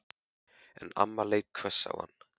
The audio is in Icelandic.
En mamma leit hvöss á hana.